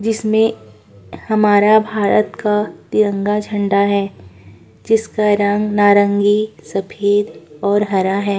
जिसमें हमारे भारत का तिरंगा झंडा है जिसका रंग नारंगी सफ़ेद हरा है।